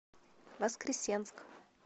воскресенск